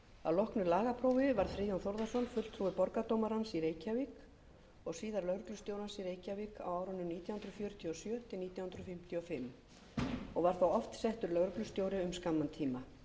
að loknu lagaprófi varð friðjón þórðarson fulltrúi borgardómarans í reykjavík og síðar lögreglustjórans í reykjavík á árunum nítján hundruð fjörutíu og sjö til nítján hundruð fimmtíu og fimm og var þá oft settur lögreglustjóri um skamman tíma hann var settur